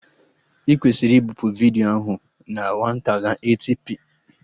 Ị kwesịrị ibipu vidiyo ahụ na 1080p